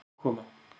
Allir að koma.